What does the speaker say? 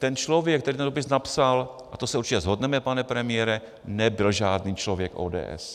Ten člověk, který ten dopis napsal - a to se určitě shodneme, pane premiére - nebyl žádný člověk ODS.